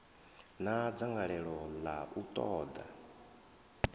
na dzangalelo ḽa u ṱoḓa